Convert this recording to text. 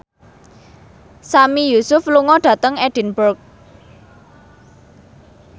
Sami Yusuf lunga dhateng Edinburgh